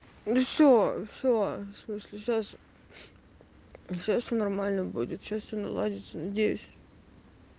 ну всё всё в смысле сейчас всё нормально будет сейчас всё наладится надеюсь